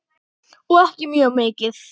Og ekkert mjög mikið.